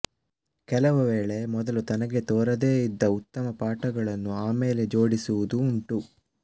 ಕೆಲವು ವೇಳೆ ಮೊದಲು ತನಗೆ ತೋರದೆ ಇದ್ದ ಉತ್ತಮ ಪಾಠಗಳನ್ನು ಆಮೇಲೆ ಜೋಡಿಸುವುದೂ ಉಂಟು